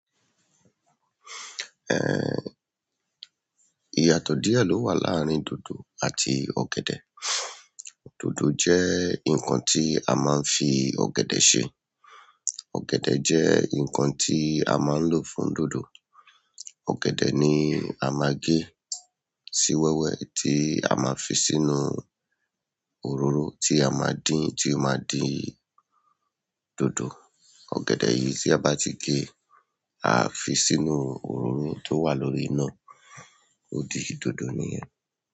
Eh, ìyàtọ̀ díẹ̀ ló wà láàárín dòdò àti ọ̀gẹ̀dẹ̀, dòdò jẹ́ nǹkan tí a máa ń fi ọ̀gẹ̀dẹ̀ ṣe, ọ̀gẹ̀dẹ̀ jẹ́ nǹkan tí a máa ń lò fún dòdò. Ọ̀gẹ̀dẹ̀ ni a máa gé, sí wẹ́wẹ́ tí a máa fi sínú òróró tí a máa dín, tí ó máa di dòdò. Ọ̀gẹ̀dẹ̀ yìí tí a bá ti gé, a a fi sínú òróró tó wà lórí iná, ó di dòdò nìyẹn.